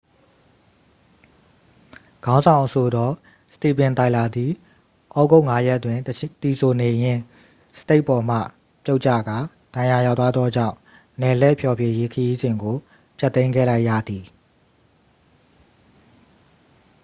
ခေါင်းဆောင်အဆိုတော် စတီဗင် တိုင်လာသည် ဩဂုတ် 5ရက်တွင် သီဆိုနေရင်း စတိတ်ပေါ်မှ ပြုတ်ကျကာ ဒဏ်ရာရသွားသောကြောင့် နယ်လှည့်ဖျော်ဖြေရေး ခရီးစဉ်ကို ဖျက်သိမ်းခဲ့လိုက်ရသည်